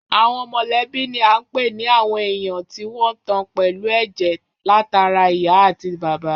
Àwọn mọ̀lẹ́bí ni à ń pè ní àwọn èèyàn tí wọ́n tan pẹ̀lú ẹ̀jẹ̀ látara ìyá àti bàbá